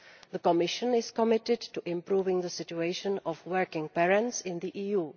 The Commission is committed to improving the situation of working parents in the EU.